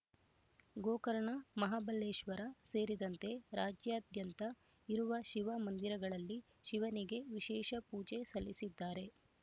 ಗೋಕರ್ಣ ಮಹಾಬಲೇಶ್ವರ ಸೇರಿದಂತೆ ರಾಜ್ಯದ್ಯಾದಂತ ಇರುವ ಶಿವ ಮಂದಿರಗಳಲ್ಲಿ ಶಿವನಿಗೆ ವಿಶೇಷ ಪೂಜೆ ಸಲ್ಲಿಸಿದ್ದಾರೆ